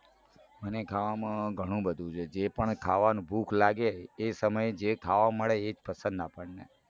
મને ખાવામાં ઘણું બધું છે જે પણ ખાવાનું ભૂખ લાગે એ સમયે જે ખાવા મળે એ જ પસંદ આપણને